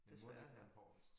Desværre